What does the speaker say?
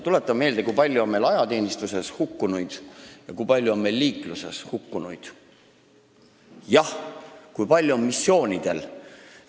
Tuletan meelde, kui palju on meil ajateenistuses hukkunuid, kui palju on liikluses hukkunuid ja kui palju on veel missioonidel hukkunuid.